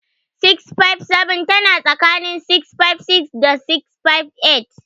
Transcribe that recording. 657 tana tsakanin 656 da 658.